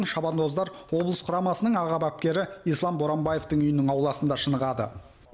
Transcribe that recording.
шабандоздар облыс құрамасының аға бапкері ислам боранбаевтың үйінің ауласында шынығады